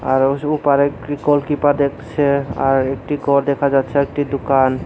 আর ওস উপারে ক্রী গোলকিপার দেখছে আর একটি গর দেখা যাচ্চে একটি দুকান।